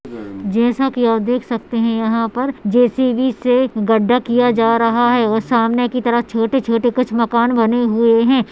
जैसा की अप देख सकते है यहाँ पर जे सी बी से गड्ढा किया जा रहा है और सामने की तरफ छोटे छोटे कुछ माकन बने हुए हैं।